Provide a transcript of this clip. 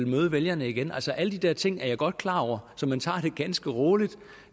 møde vælgerne igen altså alle de der ting er jeg godt klar over man tager det ganske roligt